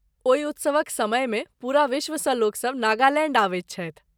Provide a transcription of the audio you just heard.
ओहि उत्सवक समयमे पूरा विश्वसँ लोकसभ नागालैण्ड अबैत छथि।